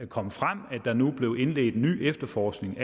kommet frem at der nu er blevet indledt ny efterforskning